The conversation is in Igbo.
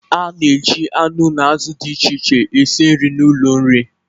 A na-eji anụ na azụ dị iche iche esi nri n'ụlọ nri.